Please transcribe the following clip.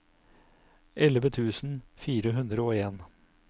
elleve tusen fire hundre og en